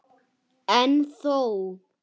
En þó.